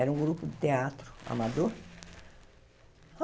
Era um grupo de teatro amador.